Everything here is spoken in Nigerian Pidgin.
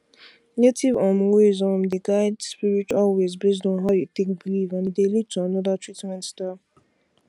native um ways um dey guide spiritual ways based on how you take belief and e dey lead to another treatment style